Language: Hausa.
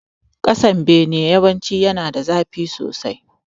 Kasan bene yawanci yana da zafi sosai